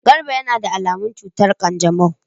Garba yana da alamun cutar kanjamau.